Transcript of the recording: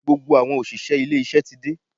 Gbogbo àwọn òṣìṣẹ́ ilé iṣẹ́ ti dé.